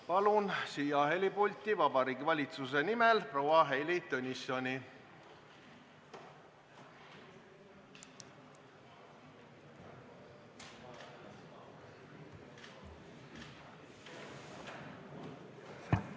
Palun siia kõnepulti Vabariigi Valitsuse nimel proua Heili Tõnissoni!